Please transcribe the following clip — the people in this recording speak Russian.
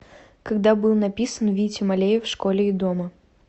когда был написан витя малеев в школе и дома